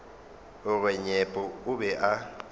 gore nyepo o be a